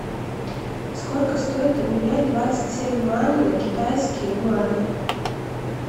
сколько стоит обменять двадцать семь юаней на китайские юани